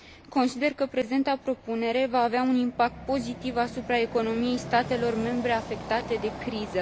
Consider că prezenta propunere va avea un impact pozitiv asupra economiei statelor membre afectate de criză.